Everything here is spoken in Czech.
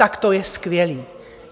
Tak to je skvělé.